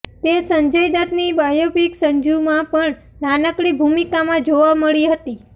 તે સંજય દત્તની બાયોપિક સંજૂમાં પણ નાનકડી ભુમિકામાં જોવા મળી હતી